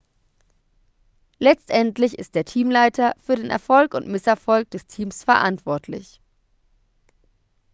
letztendlich ist der teamleiter für den erfolg und misserfolg des teams verantwortlich